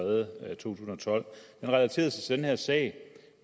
tusind og tolv han relaterede sig til den her sag